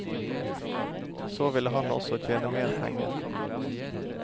Så ville han også tjene mer penger.